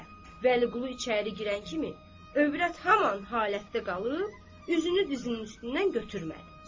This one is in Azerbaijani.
Vəliqulu içəri girən kimi, övrət haman halətdə qalıb, üzünü dizinin üstündən götürmədi.